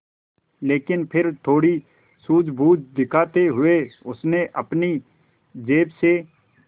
लेकिन फिर थोड़ी सूझबूझ दिखाते हुए उसने अपनी जेब से